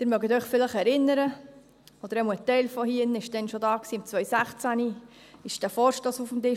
Sie mögen sich vielleicht erinnern – ein Teil der Anwesenden war damals schon da –, 2016 lag dieser Vorstoss auf dem Tisch.